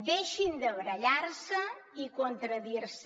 deixin de barallar se i contradir se